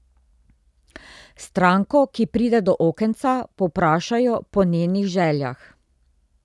Stranko, ki pride do okenca, povprašajo po njenih željah.